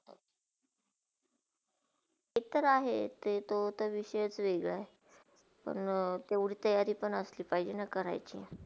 ते तर आहे, ते तोह विषयही वेगळा आहे पण तेवडी तयारी पण असली पाहिजेना करायची.